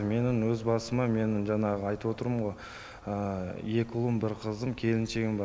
менің өз басыма менің жаңағы айтып отырмын ғой екі ұлым бір қызым келіншегім бар